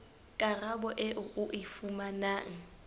karabo eo o e fumanang